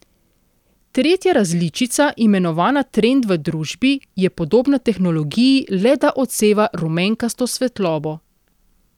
Tretja različica, imenovana trend v družbi, je podobna tehnologiji, le da odseva rumenkasto svetlobo.